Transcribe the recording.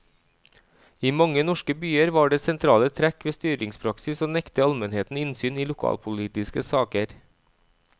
I mange norske byer var det sentrale trekk ved styringspraksis å nekte almenheten innsyn i lokalpolitiske saker.